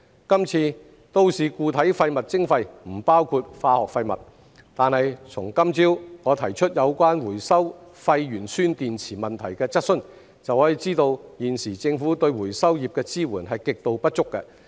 今次都市固體廢物徵費不包括化學廢物，但從今早我提出有關回收廢鉛酸電池問題的質詢，就可知道現時政府對回收業的支援極度不足。